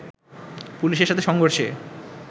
পুলিশের সাথে সংঘর্ষে